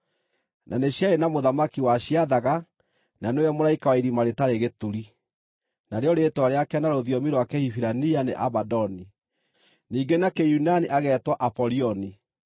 Na nĩ ciarĩ na mũthamaki waciathaga, na nĩwe mũraika wa Irima-rĩtarĩ-Gĩturi, narĩo rĩĩtwa rĩake na rũthiomi rwa Kĩhibirania nĩ Abadoni, ningĩ na Kĩyunani agetwo Apolioni.